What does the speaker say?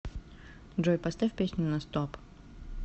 джой поставь песню на стоп